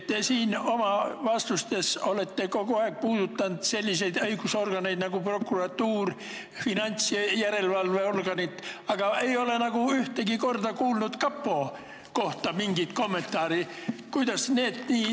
Te olete oma vastustes kogu aeg rääkinud sellisest õiguskaitseorganist nagu prokuratuur ja finantsjärelevalve organist, aga ei ole olnud mingit kommentaari kapo kohta.